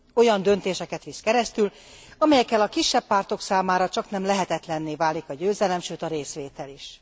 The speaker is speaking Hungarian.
Olyan döntéseket visz keresztül, amelyekkel a kisebb pártok számára csaknem lehetetlenné válik a győzelem, sőt a részvétel is.